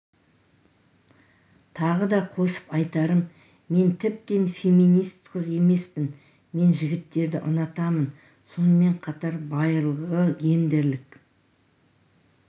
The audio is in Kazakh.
тағы да қосып айтарым мен тіптен феминист қыз емеспін мен жігіттерді ұнатамын сонымен қатар байырғы гендерлік